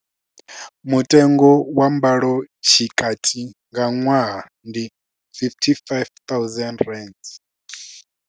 Mutengo wa mbalotshikati nga ṅwaha ndi R55 000.